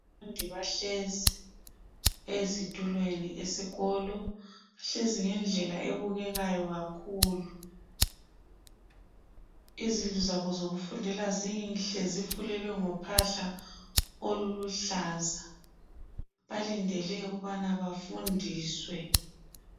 Abafundi bahlezi ezitulweni eskolo, bahlezi ngendlela ebukekayo kakhulu , izindlu zabo zokufundela zinhle zifulelwe ngophahla oluluhlaza , balindele ukubana bafundiswe